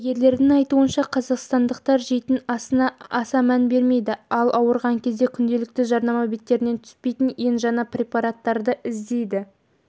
дәрігерлердің айтуынша қазақстандықтар жейтін асына аса мән бермейді ал ауырған кезде күнделікті жарнама беттерінен түспейтін ең жаңа препараттарды іздейді